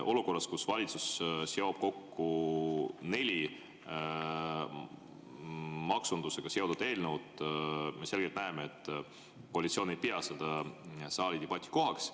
Olukorras, kus valitsus seob kokku neli maksundusega seotud eelnõu, me selgelt näeme, et koalitsioon ei pea seda saali debati kohaks.